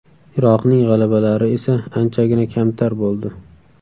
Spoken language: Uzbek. Iroqning g‘alabalari esa anchagina kamtar bo‘ldi.